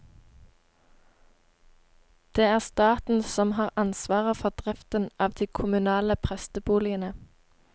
Det er staten som har ansvaret for driften av de kommunale presteboligene.